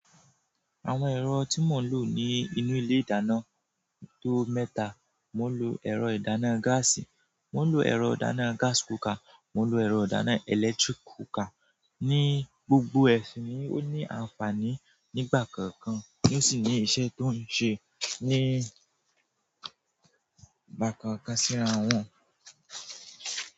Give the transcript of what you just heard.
Àwọn ẹ̀rọ tí mò ń lò ní inú ilé ìdáná tó mẹ́ta, mò ń lò ẹ̀rọ ìdáná gáàsì, mò ń lò ẹ̀rọ ìdáná gas cooker, mò ń lò ẹ̀rọ ìdáná electric cooker. Ni gbogbo ẹsin ni ó ní ànfàní nígbà kankan ni ó sì ní iṣẹ́ tó ń ṣe nígbà kàn kan síran wọn.